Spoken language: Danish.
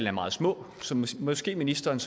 er meget små så måske måske ministeren